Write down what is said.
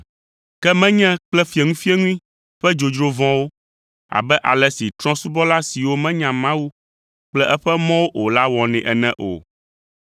ke menye kple fieŋuifieŋui ƒe dzodzro vɔ̃wo, abe ale si trɔ̃subɔla siwo menya Mawu kple eƒe mɔwo o la wɔnɛ ene o.